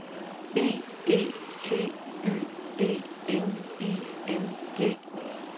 B E T Y D N I N G